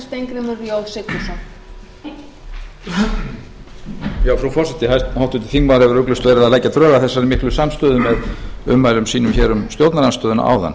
þingmaður hefur ugglaust verið að leggja drög að þessari miklu samstöðu með ummælum sínum hér um stjórnarandstöðuna áðan